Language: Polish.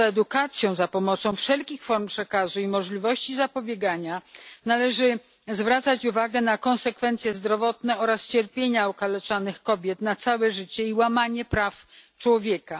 Poza edukacją za pomocą wszelkich form przekazu i możliwością zapobiegania należy zwracać uwagę na konsekwencje zdrowotne i cierpienia okaleczanych kobiet przez całe życie oraz łamanie praw człowieka.